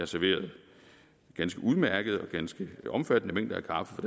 serverede ganske udmærket og ganske omfattende mængder kaffe for